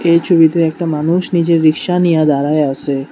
এই ছবিতে একটা মানুষ নিজের রিকশা নিয়া দাঁড়ায় আসে।